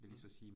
Mh